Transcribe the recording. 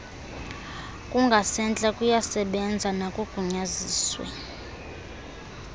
kungasentla kuyasebenza nakogunyaziswe